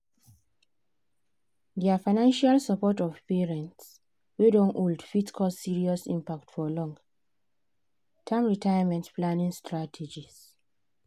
their financial support of parents wey don old fit cause serious impact for long-term retirement planning strategies.